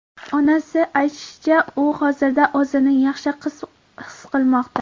Onasi aytishicha, u hozirda o‘zini yaxshi his qilmoqda.